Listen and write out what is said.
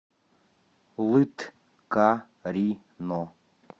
лыткарино